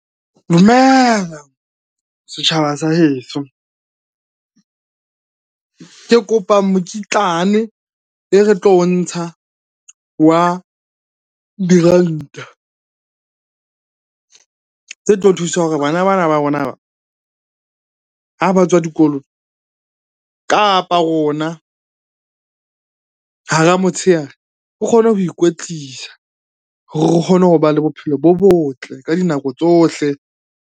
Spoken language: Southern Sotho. Dumela setjhaba sa heso. Ke kopa mokitlane e re tlo o ntsha wa diranta tse tlo thusa hore bana ba na ba rona ha ba tswa dikolong, kapa rona hara motshehare re kgone ho ikwetlisa hore re kgone ho ba le bophelo bo botle ka dinako tsohle.